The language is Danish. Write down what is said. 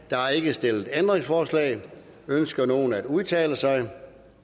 der er ikke stillet ændringsforslag ønsker nogen at udtale sig